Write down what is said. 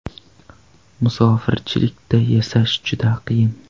Musofirchilikda yashash juda qiyin.